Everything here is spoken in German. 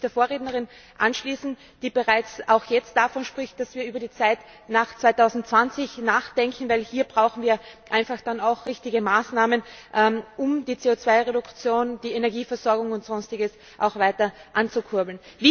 Ich möchte mich der Vorrednerin anschließen, die bereits jetzt davon spricht, dass wir über die Zeit nach 2020 nachdenken, denn wir brauchen einfach dann auch richtige Maßnahmen, um die CO2 Reduktion, die Energieversorgung und sonstiges weiter anzukurbeln.